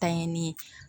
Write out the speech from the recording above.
Tanyani